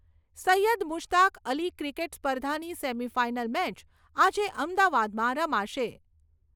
Syed Mushtaq Ali cricket સ્પર્ધાની semi final match આજે અમદાવાદમાં રમાશે.